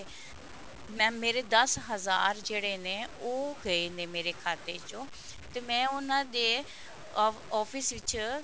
mam ਮੇਰੇ ਦਸ ਹਜਾਰ ਜਿਹੜੇ ਨੇ ਉਹ ਗਏ ਨੇ ਮੇਰੇ ਖਾਤੇ ਚੋ ਤੇ ਮੈਂ ਉਹਨਾ ਦੇ office ਵਿੱਚ